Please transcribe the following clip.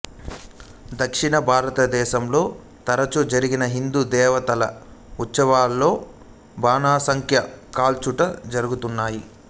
దక్షిణ భారతదేశంలో తరచూ జరిగిన హిందూ దేవతల ఉత్సవాలలో బాణసంచా కాల్చుట జరుగుతున్నది